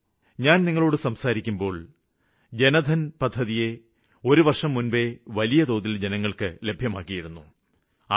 ഇന്ന് ഞാന് നിങ്ങളോട് സംസാരിക്കുന്നതിന് ഒരുവര്ഷം മുമ്പേ ജന്ധന് പദ്ധതിയെ വലിയതോതില് ജനങ്ങള്ക്ക് ലഭ്യമാക്കിയിരുന്നു